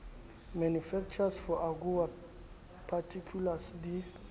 manufacturer for agoa particulars di